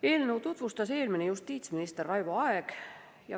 Eelnõu tutvustas eelmine justiitsminister Raivo Aeg.